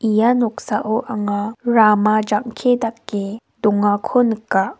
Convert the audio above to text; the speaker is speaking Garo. ia noksao anga rama jang·ke dake dongako nika.